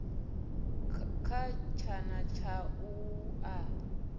kha tshana tsha u a